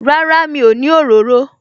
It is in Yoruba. Rárá, mi ò ní òróró